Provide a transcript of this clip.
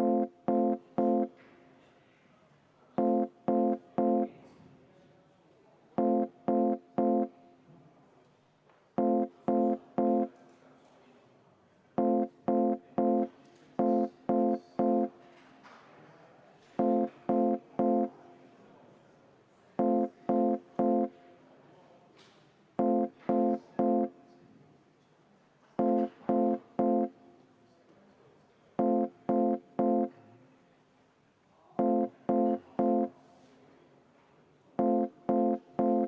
see on edastatud valitsusele ja valitsuselt on tulnud ettepanek arutada seda tänasel istungil esimesel võimalusel.